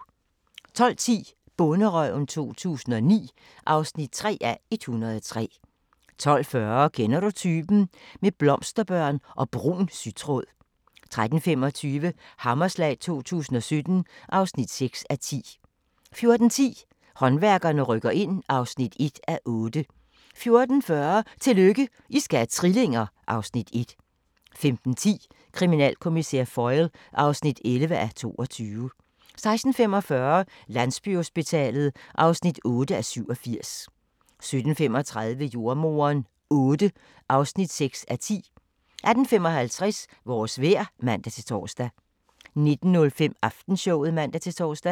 12:10: Bonderøven 2009 (3:103) 12:40: Kender du typen? – med blomsterbørn og brun sytråd 13:25: Hammerslag 2017 (6:10) 14:10: Håndværkerne rykker ind (1:8) 14:40: Tillykke, I skal have trillinger! (Afs. 1) 15:10: Kriminalkommissær Foyle (11:22) 16:45: Landsbyhospitalet (8:87) 17:35: Jordemoderen VIII (6:10) 18:55: Vores vejr (man-tor) 19:05: Aftenshowet (man-tor)